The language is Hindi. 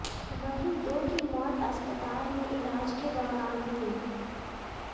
वहीं दो की मौत अस्पताल में इलाज के दौरान हुई है